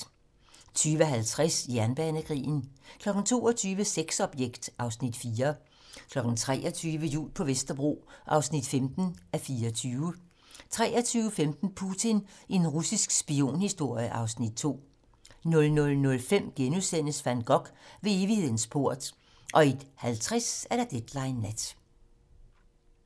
20:50: Jernbanekrigen 22:00: Sexobjekt (Afs. 4) 23:00: Jul på Vesterbro (15:24) 23:15: Putin - en russisk spionhistorie (Afs. 2) 00:05: Van Gogh - Ved evighedens port * 01:50: Deadline nat